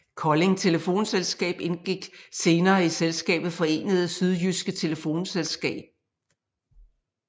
Kolding Telefonselskab indgik senere i selskabet Forenede Sydjydske Telefonselskab